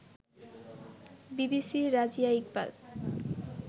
বিবিসির রাজিয়া ইকবাল